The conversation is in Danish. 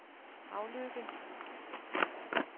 Havløkke